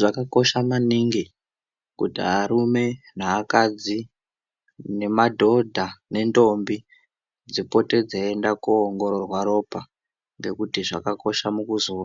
Zvakakosha maningi kuti arume neakadzi nemadhodha nendombi dzipote dzeiienda koongororwa ropa. Ngekuti zvakakosha mukuzo